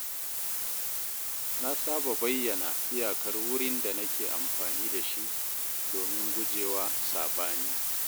Na saba bayyana iyakar wurin da nake amfani da shi domin guje wa saɓani.